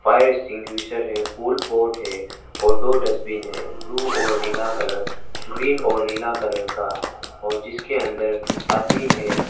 है फूल पोट है और दो डस्टबिन है ब्लू और नीला कलर ग्रीन और नीला कलर का और जिसके अंदर आदमी है।